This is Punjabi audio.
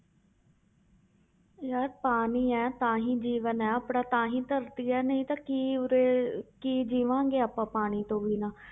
ਯਾਰ ਪਾਣੀ ਹੈ ਤਾਂ ਹੀ ਜੀਵਨ ਹੈ ਆਪਣਾ ਤਾਂ ਹੀ ਧਰਤੀ ਹੈ ਨਹੀਂ ਤਾਂ ਕੀ ਉਰੇ ਕੀ ਜੀਵਾਂਗੇ ਆਪਾਂ ਪਾਣੀ ਤੋਂ ਬਿਨਾਂ।